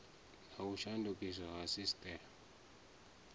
na u shandukiswa ha sisiteme